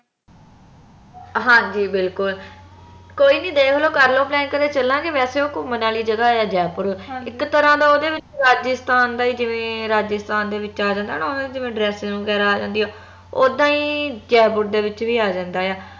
ਹਾਂ ਜੀ ਬਿਲਕੁਲ ਕੋਈ ਨੀ ਦੇਖਲੋ ਕਰਲੋ ਕਦੇ ਚਲਾਗੇ ਵਸੇ ਓਹ ਘੁੰਮਣ ਆਲੀ ਜਗਾਹ ਆ ਜੈਪੁਰ ਇਕ ਤਰਾਂ ਦਾ ਓਹਦੇ ਵਿਚ ਰਾਜਸਥਾਨ ਦਾ ਹੀ ਜਿਵੇ ਰਾਜਸਥਾਨ ਦੇ ਵਿਚ ਆ ਜਾਂਦਾ ਆ ਨਾ ਜਿਵੇਂ dressing ਵਗੈਰਾ ਆ ਜਾਂਦੀ ਆ ਓਦਾਂ ਹੀ ਜੈਪੁਰ ਦੇ ਵਿਚ ਵੀ ਆ ਜਾਂਦਾ ਆ